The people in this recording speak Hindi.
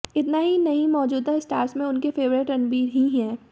इतना ही नहीं मौजूदा स्टार्स में उनके फेवरिट रणबीर ही हैं